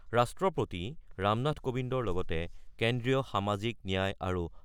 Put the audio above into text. ৰাষ্ট্ৰপতি ৰামনাথ কোবিন্দৰ লগতে কেন্দ্ৰীয়